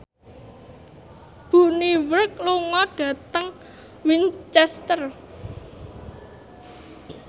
Bonnie Wright lunga dhateng Winchester